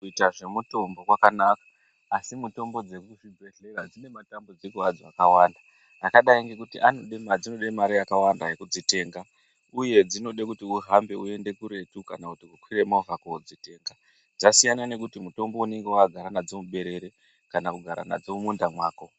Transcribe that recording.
Kuita zvemutombo kwakanaka asi mutombo dzekuzvibhedhlera dzi ne matambudziko adzo akawanda akadai ngekuti anode mare dzinode mare yakawanda yekudzitenga uye dzinode kuti uhambe uyende kuretu kana kukwire movha kodzitenga dzasiyana nekuti mutombo unenga wakagara nadzi muberere kana kugara nadzo mumunda mwako.